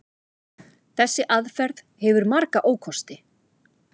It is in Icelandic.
Þessi aðferð hefur marga ókosti.